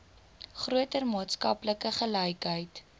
groter maatskaplike gelykheid